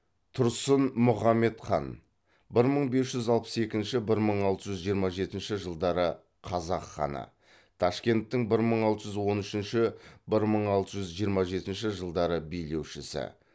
тұрсын мұхаммед хан бір мың бес жүз алпыс екінші бір мың алты жүз жиырма жетінші жылдары қазақ ханы ташкенттің бір мың алты жүз он үшінші бір мың алты жүз жиырма жетінші жылдары билеушісі